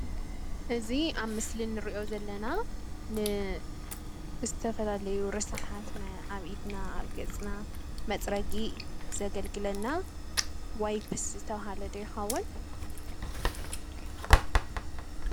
እዚ አብ ምስሊ እንሪኦ ዘለና ንዝተፈላለዩ ርስሓት አብ ኢድና፣ አብ ገፅና መፅረጊ ዘገልግለና ዋይፕስ ዝተብሃለ ዶ ይኸውን?